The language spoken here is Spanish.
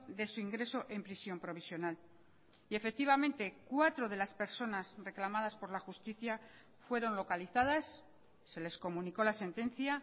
de su ingreso en prisión provisional y efectivamente cuatro de las personas reclamadas por la justicia fueron localizadas se les comunicó la sentencia